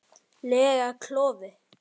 lega klofi.